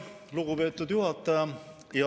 Lugupeetud juhataja!